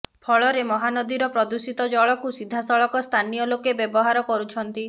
ଫଳରେ ମହାନଦୀର ପ୍ରଦୂଷିତ ଜଳକୁ ସିଧାସଳଖ ସ୍ଥାନୀୟ ଲୋକେ ବ୍ୟବହାର କରୁଛନ୍ତି